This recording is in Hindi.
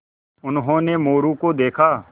उन्होंने मोरू को देखा